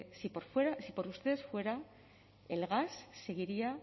si por ustedes fuera el gas seguiría